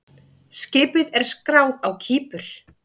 Skipið er skráð á Kípur.